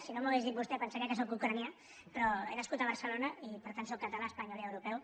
si no m’ho hagués dit vostè pensaria que sóc ucraïnès però he nascut a barcelona i per tant sóc català espanyol i europeu